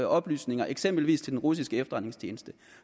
oplysninger eksempelvis til den russiske efterretningstjeneste